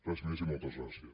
res més i moltes gràcies